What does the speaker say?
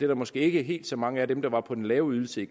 der måske ikke helt så mange af dem dage var på den lave ydelse